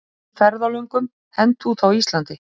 Drukknum ferðalöngum hent út á Íslandi